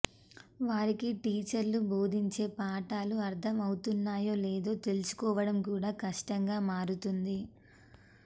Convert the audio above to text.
వారికి టీచర్లు బోధించే పాఠాలు అర్థమవుతున్నాయో లేదో తెలుసు కోవడం కూడా కష్టంగా మారుతోంది